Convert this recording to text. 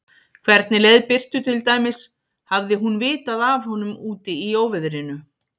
Hvernig leið Birtu til dæmis, hafði hún vitað af honum úti í óveðrinu?